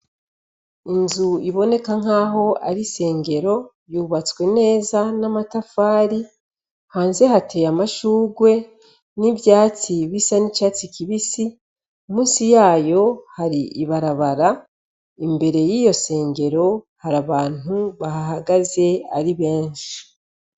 Inzu iboneka nk' aho ari isengero, yubatswe neza n' amatafari, hanze hatewe amashurwe n' ivyatsi bisa n' icatsi kibisi, munsi yayo hari ibarabara, imbere y' iyo sengero hari abantu bahahagaze ari benshi .